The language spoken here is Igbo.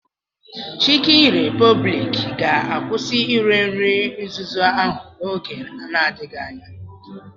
Chikin Repobliki ga-akwụsị ire nri nzuzu ahụ n'oge n'adịghị anya.